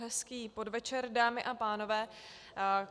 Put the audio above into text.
Hezký podvečer, dámy a pánové.